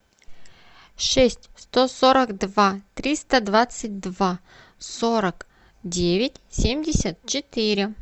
шесть сто сорок два триста двадцать два сорок девять семьдесят четыре